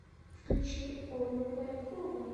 включи олю полякову